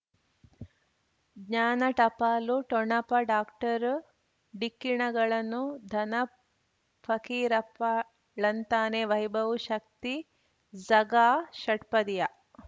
ಜ್ಞಾನ ಟಪಾಲು ಠೊಣಪ ಡಾಕ್ಟರ್ ಢಿಕ್ಕಿ ಣಗಳನು ಧನ ಫಕೀರಪ್ಪ ಳಂತಾನೆ ವೈಭವ್ ಶಕ್ತಿ ಝಗಾ ಷಟ್ಪದಿಯ